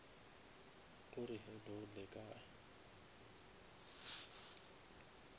o re hello le kae